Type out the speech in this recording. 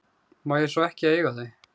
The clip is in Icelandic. Má ég svo ekki eiga þau?